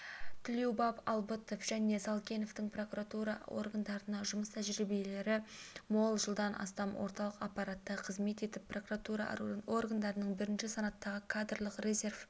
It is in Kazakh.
тлеубаев албытов және салкеновтің прокуратура органдарындағы жұмыс тәжірибелері мол жылдан астам орталық аппаратта қызмет етіп прокуратура органдарының бірінші санаттағы кадрлық резервінде